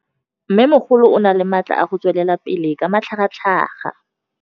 Mmêmogolo o na le matla a go tswelela pele ka matlhagatlhaga.